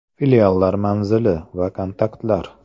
Filiallar manzili va kontaktlar: .